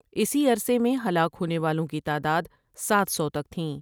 اسی عرصے میں ہلاک ہونے والوں کی تعداد ساتھ سو تک تھیں۔